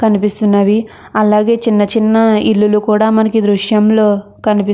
అలాగే చిన్న చిన్న ఇల్లులు కూడా ఉన్నాయ్.